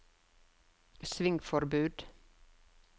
svingforbud